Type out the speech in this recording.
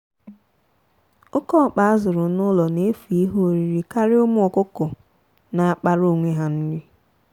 oke ọkpa a zụrụ n'ụlo na-efu ihe oriri karịa ụmụ ọkụkọ na-akpara onwe ha nri